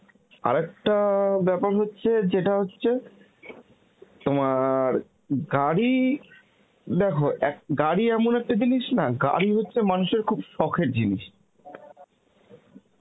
আর একটা ব্যাপার হচ্ছে যেটা হচ্ছে, তোমার গাড়ি দেখো গাড়ি এমন একটা জিনিস না, গাড়ি হচ্ছে মানুষের খুব সখের জিনিস